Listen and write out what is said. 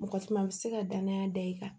Mɔgɔ caman bɛ se ka danaya da i kan